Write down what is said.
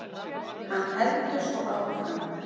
Hann heldur svo áfram